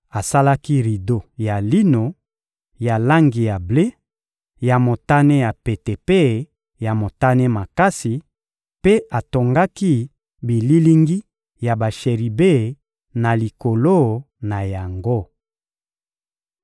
Asalaki rido ya lino, ya langi ya ble, ya motane ya pete mpe ya motane makasi, mpe atongaki bililingi ya basheribe na likolo na yango. (1Ba 7.15-22)